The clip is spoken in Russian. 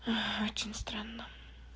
очень странно